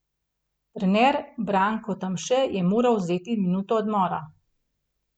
Trener Branko Tamše je moral vzeti minuto odmora.